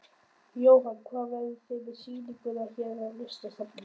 Jóhann: Hvar verðið þið með sýninguna hér í Listasafninu?